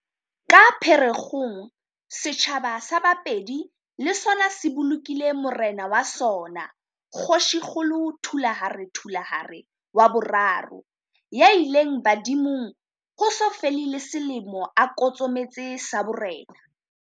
Ka Phe rekgong, setjhaba sa Bapedi le sona se bolokile morena wa sona Kgoshikgolo Thulare Thulare wa boraro, ya ileng badimong ho so fele le selemo a kotsometse sa borena.